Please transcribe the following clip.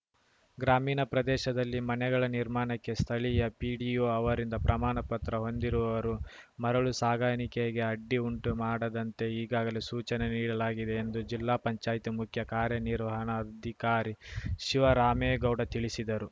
ಗ್ರಾಮೀಣ ಪ್ರದೇಶದಲ್ಲಿ ಮನೆಗಳ ನಿರ್ಮಾಣಕ್ಕೆ ಸ್ಥಳೀಯ ಪಿಡಿಒ ಅವರಿಂದ ಪ್ರಮಾಣ ಪತ್ರ ಹೊಂದಿರುವವರು ಮರಳು ಸಾಗಾಣಿಕೆಗೆ ಅಡ್ಡಿ ಉಂಟು ಮಾಡದಂತೆ ಈಗಾಗಲೇ ಸೂಚನೆ ನೀಡಲಾಗಿದೆ ಎಂದು ಜಿಲ್ಲಾ ಪಂಚಾಯಿತಿ ಮುಖ್ಯ ಕಾರ್ಯನಿರ್ವಹಣಾಧಿಕಾರಿ ಶಿವರಾಮೇಗೌಡ ತಿಳಿಶಿದರು